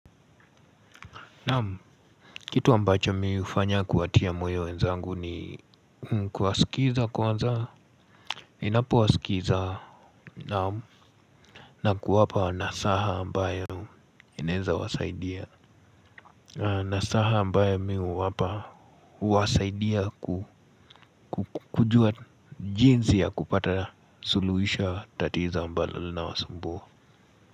Kitu ambacho mi hufanya kuwatia moyo wenzangu ni kuwasikiza kwanza ninapowasikiza na kuwapa nasaha ambayo inaweza wasaidia. Nasaha ambayo mi huwapa huwasaidia kujua jinsi ya kupata suluisho ya tatizo ambalo linawasumbua.